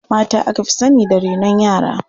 Mata aka fi sani da renon yara.